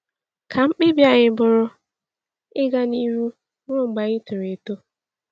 “Ka mkpebi anyị bụrụ ‘ịga n’ihu ruo mgbe anyị toro eto.’”